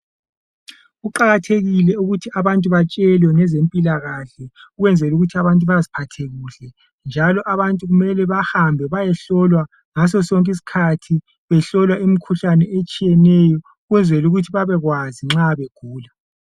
Kuqakathekile ukuthi abantu batshelwe ngezempilakahle ukwenzela ukuthi abantu baziphathe kuhle ,njalo abantu kumele bahambe bayehlolwa ngososonke isikhathi behlolwa imikhuhlane etshiyeneyo ukwenzela ukuthi babekwazi nxa begula .